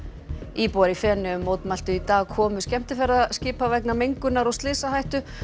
íbúar í Feneyjum mótmæltu í dag komu skemmtiferðaskipa vegna mengunar og slysahættu